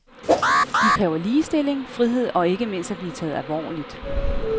De kræver ligestilling, frihed og ikke mindst at blive taget alvorligt.